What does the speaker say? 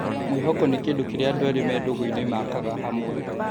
Mwĩhoko nĩ kĩndũ kĩrĩa andũ erĩ me ndũgũ-inĩ makaga hamwe